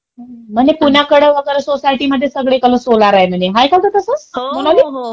म्हणे पुण्याकडे वगैरे सगळीकडे सोसायटीमध्ये सगळीकडं सोलार आहे म्हणे, हाय का ग तसं? मोनाली?